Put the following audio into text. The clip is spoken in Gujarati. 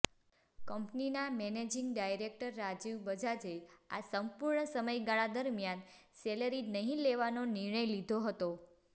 કંપનીના મેનેજિંગ ડાયરેક્ટર રાજીવ બજાજે આ સંપૂર્ણ સમયગાળા દરમિયાન સેલેરી નહી લેવાનો નિર્ણય લીધો હતો